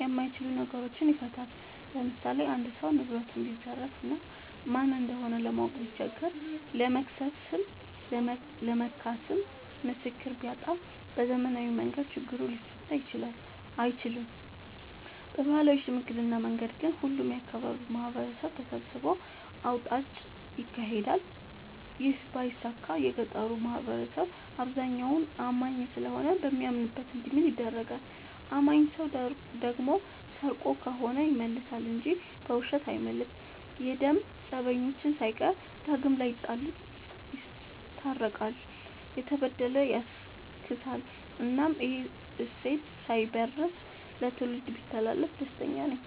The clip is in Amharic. የማይችሉ ነገሮችን ይፈታል። ለምሳሌ አንድ ሰው ንብረቱን ቢዘረፍ እና ማን እንደሆነ ለማወቅ ቢቸገር ለመክሰስም ለመካስም ምስክር ቢያጣ በዘመናዊ መንገድ ችግሩ ሊፈታ አይችልም። በባህላዊ ሽምግልና መንገድ ግን ሁሉም የአካባቢው ማህበረሰብ ተሰብስቦ አውጣጭ ይካሄዳል ይህ ባይሳካ የገጠሩ ማህበረሰብ አብዛኛው አማኝ ስለሆነ በሚያምንበት እንዲምል ይደረጋል። አማኝ ሰው ደግሞ ሰርቆ ከሆነ ይመልሳ እንጂ በውሸት አይምልም። የደም ፀበኞችን ሳይቀር ዳግም ላይጣሉ ይስታርቃል፤ የተበደለ ያስክሳል እናም ይህ እሴት ሳይበረዝ ለትውልድ ቢተላለፍ ደስተኛ ነኝ።